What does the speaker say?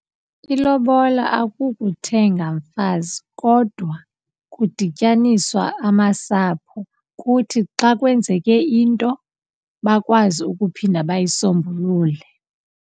Ilobola akukuthenga mfazi kodwa kudityaniswa amasapho kuthi xa kwenzeke into bakwazi ukuphinda bayisombulule.